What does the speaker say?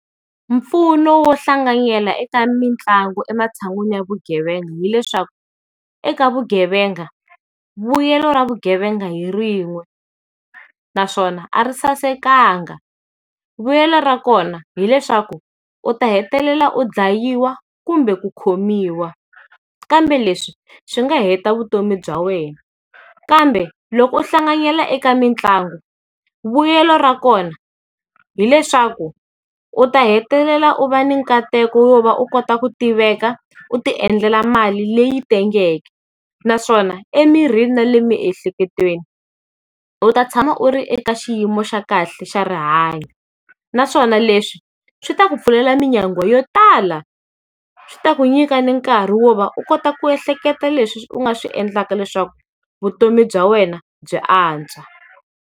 Mpfuno wo hlanganyela eka mitlangu ematshan'wini ya vugevenga hileswaku, eka vugevenga, vuyelo ra vugevenga hi rin'we naswona a ri sasekanga. Vulelo ra kona hileswaku, u ta hetelela u dlayiwa kumbe ku khomiwa. Kambe leswi swi nga heta vutomi bya wena. Kambe, loko u hlanganyela eka mitlangu vuyelo ra kona hileswaku, u ta hetelela u va ni nkateko yo va u kota ku tiveka, u ti endlela mali leyi tengeke naswona emirini na le emiehleketweni, u ta tshama u ri eka xiyimo xa kahle xa rihanyo. Naswona leswi, swi ta ku pfulela minyangwa yo tala. Swi ta ku nyika ni nkari wo va u kota ku ehleketa leswi u nga swi endlaka leswaku vutomi bya wena byi antswa.